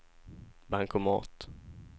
bankomat